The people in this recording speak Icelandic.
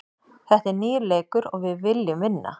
Þetta er nýr leikur og við viljum vinna.